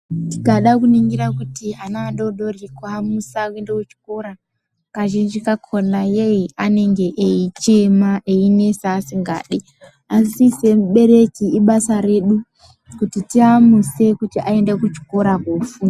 Tikada kuningira kuti ana adodori kuamusa kuende kuchikora kazhinji kakhona yee anenge eichema einesa asingadi asi semuberwki ibasa redu kuti tiamuse aende kuchikora kofu.